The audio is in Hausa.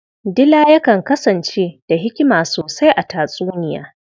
Dila yakan kasance da hikima sosai a tatsuniya.